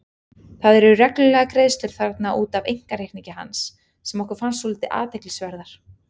Það eru reglulegar greiðslur þarna út af einkareikningi hans sem okkur fannst svolítið athyglisverðar.